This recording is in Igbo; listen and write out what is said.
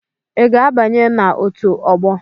Ị ga-abanye na otu ọgbọ?